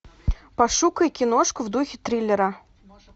пошукай киношку в духе триллера